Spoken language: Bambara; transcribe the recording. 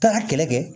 Taa kɛlɛ kɛ